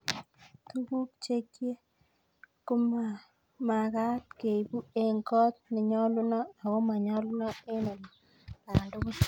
Tukuk chekye komakat keipu eng' kot nenyolunot ako manyolunot eng' olandugul.